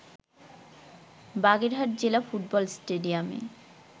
বাগেরহাট জেলা ফুটবল স্টেডিয়ামে